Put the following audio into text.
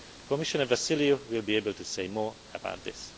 Commissioner Vassiliou will be able to say more about this.